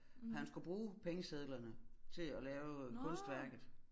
Han skulle bruge pengesedlerne til at lave kunstværket